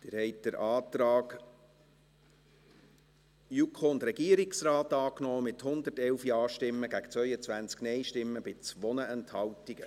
Sie haben den Antrag JuKo und Regierungsrat angenommen, mit 111 Ja- gegen 22 NeinStimmen bei 2 Enthaltungen.